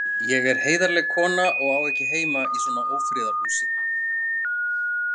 Ég er heiðarleg kona og á ekki heima í svona ófriðarhúsi.